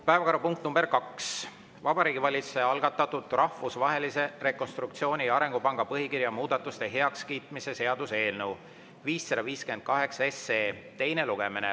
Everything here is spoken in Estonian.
Päevakorrapunkt nr 2: Vabariigi Valitsuse algatatud Rahvusvahelise Rekonstruktsiooni- ja Arengupanga põhikirja muudatuste heakskiitmise seaduse eelnõu 558 teine lugemine.